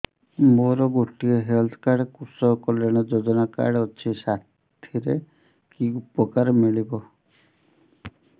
ମୋର ଗୋଟିଏ health card କୃଷକ କଲ୍ୟାଣ ଯୋଜନା କାର୍ଡ ଅଛି ସାଥିରେ କି ଉପକାର ମିଳିବ